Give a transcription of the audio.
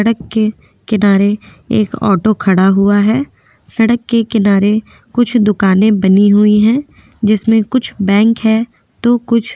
सड़क के किनारे एक ऑटो खड़ा हुआ है सड़क के किनारे कुछ दुकाने बनी हुई है जिसमे कुछ बैंक है तो कुछ --